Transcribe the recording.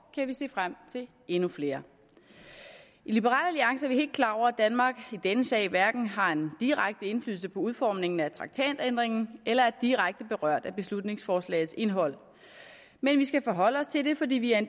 kan vi se frem til endnu flere i liberal alliance er vi helt klar over at danmark i denne sag hverken har en direkte indflydelse på udformningen af traktatændringen eller er direkte berørt af beslutningsforslagets indhold men vi skal forholde os til det fordi vi er